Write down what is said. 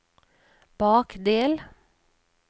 bakdel